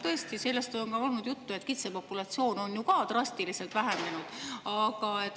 Tõesti, sellest on olnud juttu, et kitsepopulatsioon on drastiliselt vähenenud.